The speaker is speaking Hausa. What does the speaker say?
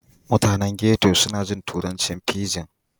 Mutanen ghetto suna jin turancin fijin.